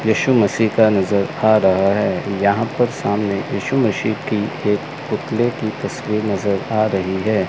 यीशु मसीह का नजर आ रहा है यहां पर सामने यीशु मसीह की एक पुतले की तस्वीर नजर आ रही है।